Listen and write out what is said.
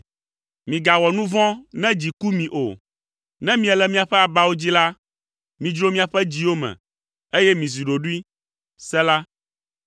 Migawɔ nu vɔ̃ ne dzi ku mi o; ne miele miaƒe abawo dzi la, midzro miaƒe dziwo me, eye mizi ɖoɖoe. Sela